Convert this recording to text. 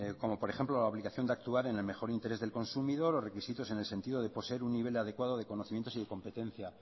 como por ejemplo la obligación de actuar en el mejor interés del consumidor los requisitos en el sentido de poseer un nivel adecuado de conocimientos y competencia